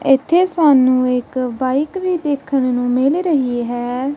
ਇੱਥੇ ਸਾਨੂੰ ਇੱਕ ਬਾਈਕ ਵੀ ਦੇਖਣ ਨੂੰ ਮਿਲ ਰਹੀ ਹੈ।